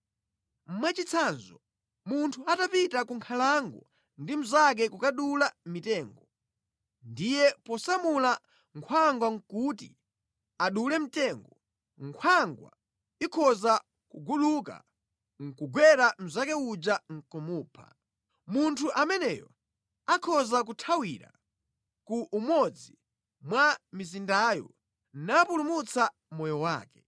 Mwachitsanzo, munthu atapita ku nkhalango ndi mnzake kukadula mitengo, ndiye posamula nkhwangwa kuti adule mtengo, nkhwangwa ikhoza kuguluka nʼkukagwera mnzake uja nʼkumupha. Munthu ameneyo akhoza kuthawira ku umodzi mwa mizindayo napulumutsa moyo wake.